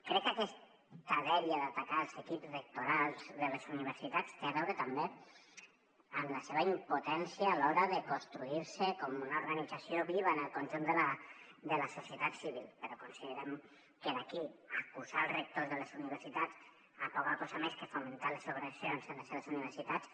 crec que aquesta dèria d’atacar els equips rectorals de les universitats té a veure també amb la seva impotència a l’hora de construir se com una organització viva en el conjunt de la societat civil però considerem que d’aquí a acusar els rectors de les universitats de poca cosa més que de fomentar les agressions a les seves universitats